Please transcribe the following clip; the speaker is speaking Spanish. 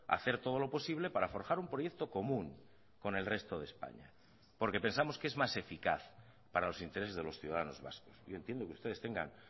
hacer todo lo posible para forjar un proyecto común con el resto de españa porque pensamos que es más eficaz para los intereses de los ciudadanos vascos yo entiendo que ustedes tengan